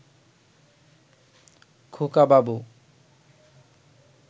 খোকাবাবু